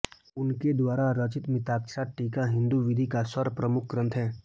उनके द्वारा रचित मिताक्षरा टीका हिन्दू विधि का सर्वप्रमुख ग्रन्थ है